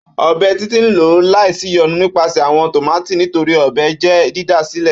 Ọ́bẹ Titi n lọ laisiyonu nipasẹ awọn tomati nitori ọ́bẹ jẹ didasilẹ.